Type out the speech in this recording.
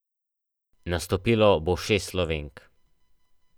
Nastopilo bo šest Slovenk.